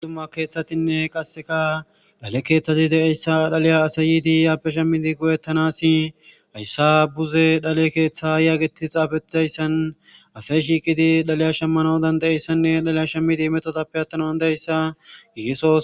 adumma keeththatinne qasseka dhale keeththati de7eyssa dhaliya asay yiidi yaappe shemmidi goyettanasi hayssa buze dale keeththa yaageti xaabetidayssan asay shiiqidi dhaliya shemmanaodan de7eyssanne dhaliya shemmidi metodappe attanan deayssa yiiso